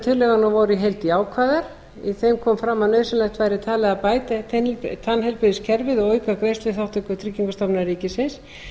tillöguna voru í heild jákvæðar í þeim kom fram að nauðsynlegt væri talið að bæta tannheilbrigðiskerfið og auka greiðsluþátttöku tryggingastofnunar ríkisins